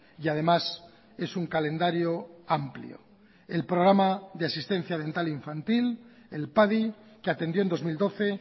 y además es un calendario amplio el programa de asistencia dental infantil el padi que atendió en dos mil doce